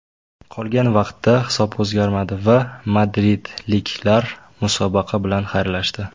Qolgan vaqtda hisob o‘zgarmadi va madridliklar musobaqa bilan xayrlashdi.